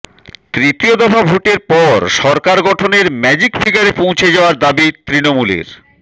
তৃতীয় দফা ভোটের পর সরকার গঠনের ম্যাজিক ফিগারে পৌছে যাওয়ার দাবি তৃণমুলের